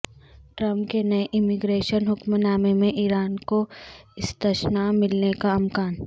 Trump کے نئے immigration حکم نامے میں ایران کو استثنا ملنے کا امکان